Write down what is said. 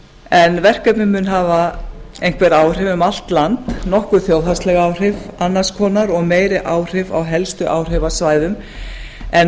en verkefnið mun hafa einhver áhrif um allt land nokkur þjóðhagsleg áhrif annars konar og meiri áhrif á helstu áhrifasvæðum en